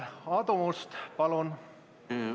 Aadu Must, palun!